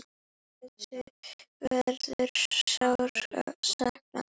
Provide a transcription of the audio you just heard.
Mörthu verður sárt saknað.